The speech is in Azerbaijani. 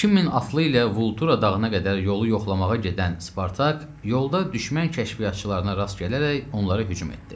2000 atlı ilə Vultura dağına qədər yolu yoxlamağa gedən Spartak, yolda düşmən kəşfiyyatçılarına rast gələrək onlara hücum etdi.